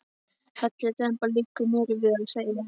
Hellidemba, liggur mér við að segja.